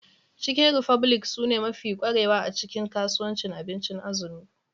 Chicken republic sune mafi kwarewa a cikin kasuwancin abincin azumi.